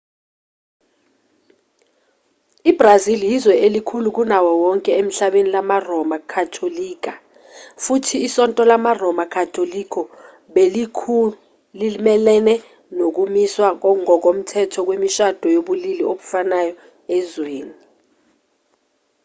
ibrazil yizwe elikhulu kunawo wonke emhlabeni lamaroma katolika futhi isonto lamaroma katolika belilokhu limelene nokumiswa ngokomthetho kwemishado yobulili obufanayo ezweni